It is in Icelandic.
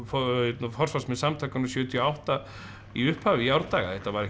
forsvarsmenn samtakanna sjötíu og átta í upphafi í árdaga þetta var ekkert